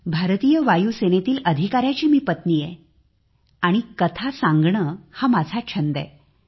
भारतीय वायुसेनेतील एका अधिकाऱ्याची मी पत्नी आहे आणि कथा सांगणे हा माझा छंद आहे